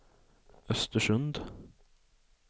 Östersund